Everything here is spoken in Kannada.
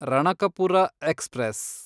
ರಣಕಪುರ ಎಕ್ಸ್‌ಪ್ರೆಸ್